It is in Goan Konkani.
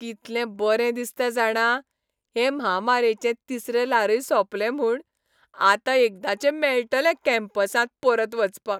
कितलें बरें दिसता जाणा, हे म्हामारेचें तिसरें ल्हारय सोंपलें म्हूण. आतां एकदांचें मेळटलें कॅम्पसांत परत वचपाक.